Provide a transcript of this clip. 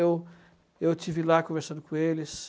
Eu eu estive lá conversando com eles.